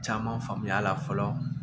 Caman faamuya la fɔlɔ